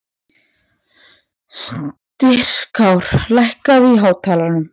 Styrkár, lækkaðu í hátalaranum.